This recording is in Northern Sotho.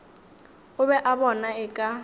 o be a bona eka